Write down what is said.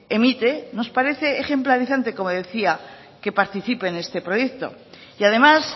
emite nos parece ejemplarizante como decía que participe en este proyecto y además